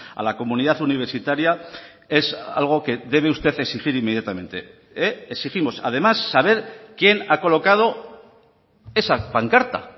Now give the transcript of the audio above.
a la comunidad universitaria es algo que debe usted exigir inmediatamente exigimos además saber quien ha colocado esa pancarta